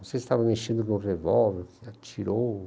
Não sei se estavam mexendo no revólver, atirou.